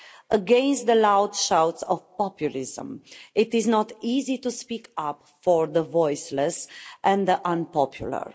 Against the loud shouts of populism it is not easy to speak up for the voiceless and the unpopular.